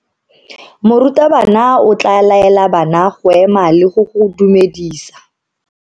Morutabana o tla laela bana go ema le go go dumedisa.